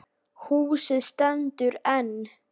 Húsið stendur enn.